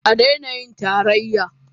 A daina yin Tarayya.